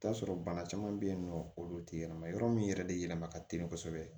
I bi t'a sɔrɔ bana caman be yen nɔ olu te yɛlɛma yɔrɔ min yɛrɛ de yɛlɛma ka teli kosɛbɛ